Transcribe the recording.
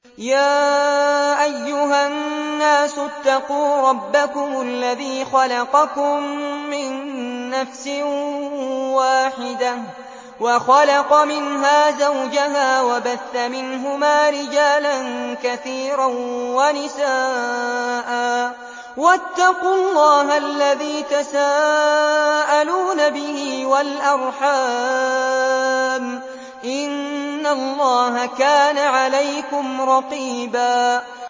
يَا أَيُّهَا النَّاسُ اتَّقُوا رَبَّكُمُ الَّذِي خَلَقَكُم مِّن نَّفْسٍ وَاحِدَةٍ وَخَلَقَ مِنْهَا زَوْجَهَا وَبَثَّ مِنْهُمَا رِجَالًا كَثِيرًا وَنِسَاءً ۚ وَاتَّقُوا اللَّهَ الَّذِي تَسَاءَلُونَ بِهِ وَالْأَرْحَامَ ۚ إِنَّ اللَّهَ كَانَ عَلَيْكُمْ رَقِيبًا